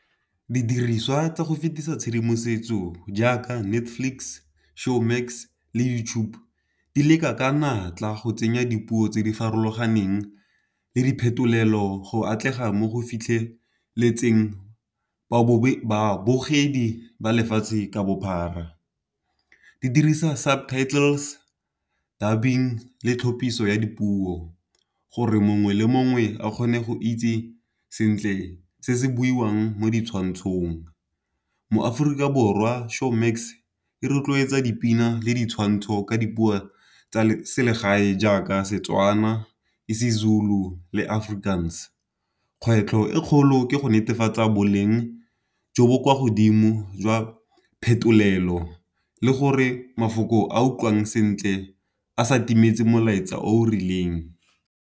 Didiriswa tsa go fetisa tshedimosetso jaaka Netflix, Showmax le YouTube di leka ka natla go tsenya dipuo tse di farologaneng le diphetolelo go atlega mo go fitlheletseng babogedi ba lefatshe ka bophara. Di dirisa subtitles, dubbing le tlhophiso ya dipuo, gore mongwe le mongwe a kgone go itse sentle se se buiwang mo ditshwantshong. Mo Aforika Borwa, Showmax e rotloetsa dipina le ditshwantsho ka dipuo tsa selegae jaaka Setswana, isiZulu le Afrikaans. Kgwetlho e e kgolo ke go netefatsa boleng jo bo kwa godimo jwa phetolelo le gore mafoko a utlwang sentle a sa timetse molaetsa o o rileng.